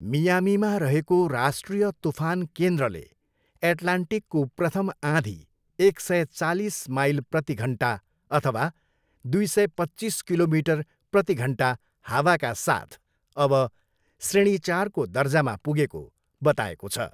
मियामीमा रहेको राष्ट्रिय तुफान केन्द्रले एट्लान्टिकको प्रथम आँधी एक सय चालिस माइल प्रतिघन्टा अथवा दुई सय, पच्चिस किमी प्रतिघन्टा हावाका साथ अब श्रेणी चारको दर्जामा पुगेको बताएको छ।